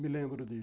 Me lembro disso.